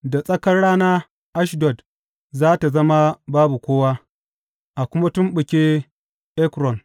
Da tsakar rana Ashdod za tă zama babu kowa a kuma tumɓuke Ekron.